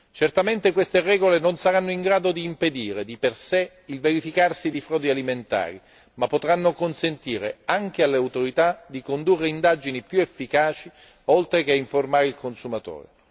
Certamente queste regole non saranno in grado di impedire di per sé il verificarsi di frodi alimentari, ma potranno consentire anche alle autorità di condurre indagini più efficaci oltre che informare i consumatori.